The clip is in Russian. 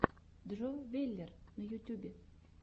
джо веллер на ютюбе